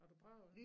Har du prøvet